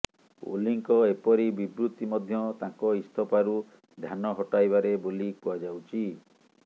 ଓଲିଙ୍କ ଏପରି ବିବୃତ୍ତି ମଧ୍ୟ ତାଙ୍କ ଇସ୍ତଫାରୁ ଧ୍ୟାନ ହଟାଇବାରେ ବୋଲି କୁହାଯାଉଛି